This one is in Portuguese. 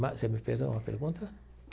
Mas você me fez uma pergunta?